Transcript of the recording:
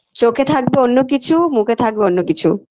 চোখে থাকবে অন্য কিছু মুখে থাকবে অন্য কিছু